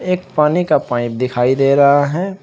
एक पानी का पाइप दिखाई दे रहा है।